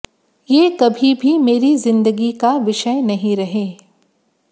ये कभी भी मेरी जिंदगी का विषय नहीं रहे